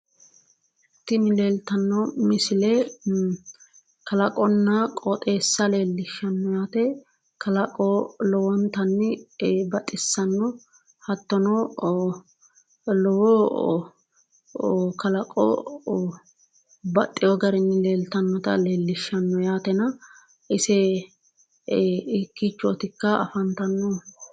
Tini leeltanno misile kalaqonna qooxeessa leellishshanno yaate. Kalaqo lowontanni baxissanno. Hattono lowo kalaqo baxxiwo garinni leeltannota leellishshanno yaatena ise hiikkiichootikka afantannohu?